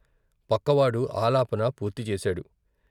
పక్కవాడు ఆలాపన పూర్తి చేశాడు.